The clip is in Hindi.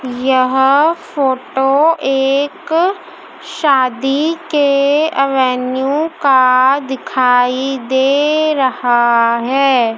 यह फोटो एक शादी के अवेन्यु का दिखाई दे रहा है।